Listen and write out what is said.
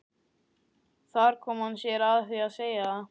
Þar kom hann sér að því að segja það.